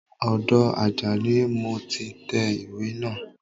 Ọdọ Àjàní ni mo ti tẹ ìwé naa